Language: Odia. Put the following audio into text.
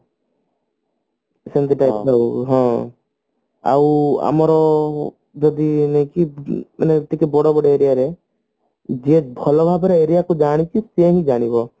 ଆଉ ଆମର ଯଦି ଇଏ ହଉଛି ମାନେ ଟିକେ ବଡ ବଡ aria ରେ ଯିଏ ଭଲ ହବରେ aria କୁ ଜାଣିଛି ସିଏ ହିଁ ଜାଣିବ